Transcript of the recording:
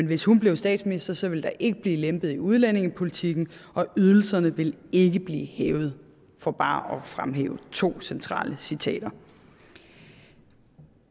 hvis hun blev statsminister så ville der ikke blive lempet i udlændingepolitikken og ydelserne ville ikke blive hævet for bare at fremhæve to centrale citater